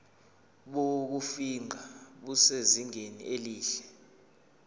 bokufingqa busezingeni elihle